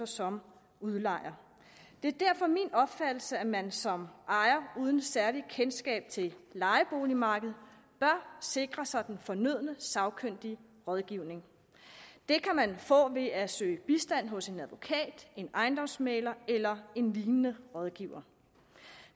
som udlejer det er derfor min opfattelse at man som ejer uden særligt kendskab til lejeboligmarkedet bør sikre sig den fornødne sagkyndige rådgivning den kan man få ved at søge bistand hos en advokat en ejendomsmægler eller en lignende rådgiver